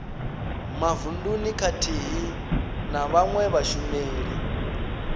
mavununi khathihi na vhawe vhashumeli